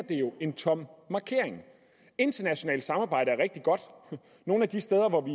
det jo en tom markering internationalt samarbejde er rigtig godt nogle af de steder hvor vi